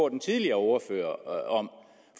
den tidligere ordfører om